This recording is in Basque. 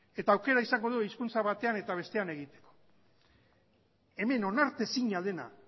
eta aukera izango dugu hizkuntza batean eta bestean egiteko hemen onartezina dena